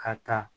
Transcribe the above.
Ka ta